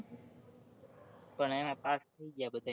પણ એમાં pass થઇ ગયા બધે